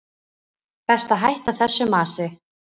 Best að hætta þessu masi.